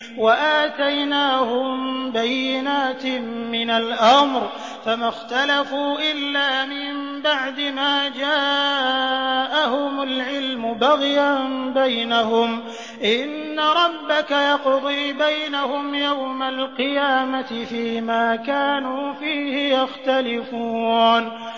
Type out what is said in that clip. وَآتَيْنَاهُم بَيِّنَاتٍ مِّنَ الْأَمْرِ ۖ فَمَا اخْتَلَفُوا إِلَّا مِن بَعْدِ مَا جَاءَهُمُ الْعِلْمُ بَغْيًا بَيْنَهُمْ ۚ إِنَّ رَبَّكَ يَقْضِي بَيْنَهُمْ يَوْمَ الْقِيَامَةِ فِيمَا كَانُوا فِيهِ يَخْتَلِفُونَ